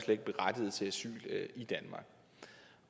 ikke berettiget til asyl i danmark